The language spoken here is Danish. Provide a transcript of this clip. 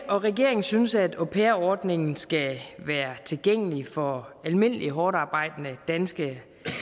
og regeringen synes at au pair ordningen skal være tilgængelig for almindelige hårdtarbejdende danske